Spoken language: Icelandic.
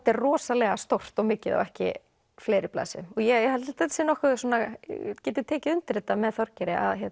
er rosalega stórt og mikið á ekki fleiri blaðsíðum ég held að ég geti tekið undir þetta með Þorgeiri að